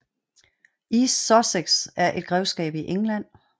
East Sussex er et grevskab i England